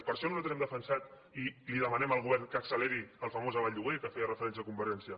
per això nosaltres hem defensat i li demanem al govern que acceleri el famós aval lloguer al qual feia referència convergència